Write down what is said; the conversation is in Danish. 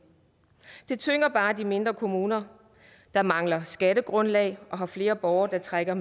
det tynger bare de mindre kommuner der mangler skattegrundlag og har flere borgere der trækker